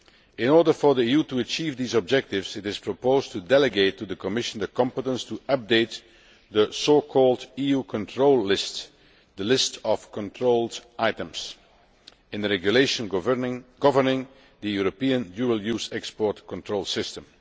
In order for the EU to achieve these objectives, it is proposed to delegate to the Commission the competence to update the so called EU control list' the list of controlled items in the Regulation governing the European dual use export control system.